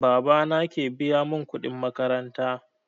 Baba na ke biya mun kuɗin makaranta